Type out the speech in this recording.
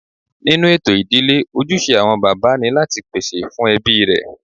Nínú ètò ìdílé, ojúṣe àwọn bàbá ni láti pèsè fún ẹbí rẹ̀